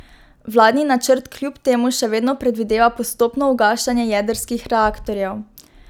Vladni načrt kljub temu še vedno predvideva postopno ugašanje jedrskih reaktorjev.